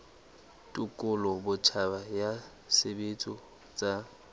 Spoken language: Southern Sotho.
tekolo botjha ya tshebetso tsa